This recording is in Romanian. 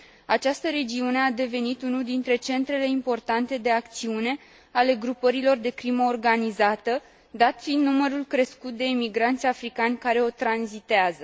Această regiune a devenit unul dintre centrele importante de acțiune ale grupărilor de crimă organizată, dat fiind numărul crescut de emigranți africani care o tranzitează.